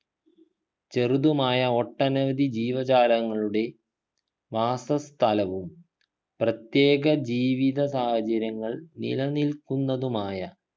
ചെറുതുമായ ഒട്ടനവധി ജീവജാലങ്ങളുടെ വാസസ്ഥലവും പ്രത്യേക ജീവിത സാഹചര്യങ്ങൾ നിലനിൽക്കുന്നതുമായ